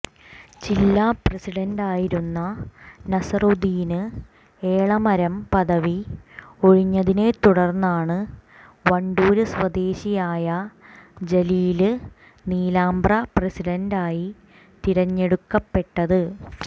ജില്ലാ പ്രസിഡന്റായിരുന്ന നസറുദ്ദീന് എളമരം പദവി ഒഴിഞ്ഞതിനെ തുടര്ന്നാണ് വണ്ടൂര് സ്വദേശിയായ ജലീല് നീലാമ്പ്ര പ്രസിഡന്റായി തിരഞ്ഞെടുക്കപ്പെട്ടത്